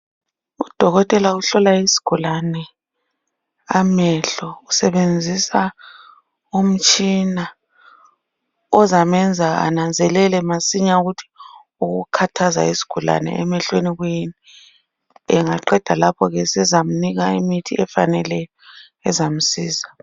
Udokotela uhlola izigulane amehlo, usebenzisa umtshina ozamenza ananzelele masinyane ukuthi okukhathaza isigulane emehlweni kuyini. Engaqeda laphoke sezamnika imithi efaneleyo ezamsiza.